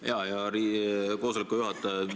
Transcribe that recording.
Hea koosoleku juhataja!